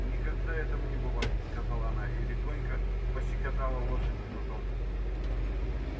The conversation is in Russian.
никогда этому не бывать сказала она и легонько пощекотала лошадь кнутом